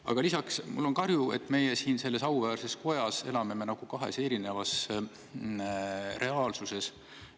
Aga lisaks on mul kahju, et meie siin selles auväärses kojas elame nagu kahes erinevas reaalsuses.